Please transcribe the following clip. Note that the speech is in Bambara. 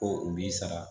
Ko u b'i sara